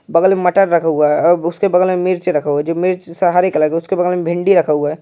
बगल में मटर रखा हुआ है अब् उसके बगल में मिर्च रखा हुआ है जो मिर्च सा हरे कलर का। उसके बगल में भिंडी रखा हुआ है।